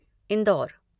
Indore